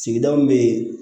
Sigida min bɛ yen